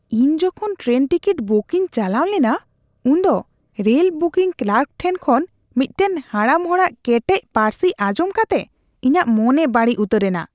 ᱤᱧ ᱡᱚᱠᱷᱚᱱ train ticket booking ᱪᱟᱞᱟᱣ ᱞᱮᱱᱟ ᱩᱱᱫᱚ ᱨᱮᱞ ᱵᱩᱠᱤᱝ ᱠᱞᱟᱨᱠ ᱴᱷᱮᱱ ᱠᱷᱚᱱ ᱢᱤᱫᱴᱟᱝ ᱦᱟᱲᱟᱢ ᱦᱚᱲᱟᱜ ᱠᱮᱴᱮᱡ ᱯᱟᱹᱨᱥᱤ ᱟᱸᱡᱚᱢ ᱠᱟᱛᱮ ᱤᱧᱟᱹᱜ ᱢᱚᱱᱮ ᱵᱟᱹᱲᱤᱡ ᱩᱛᱟᱹᱨᱮᱱᱟ ᱾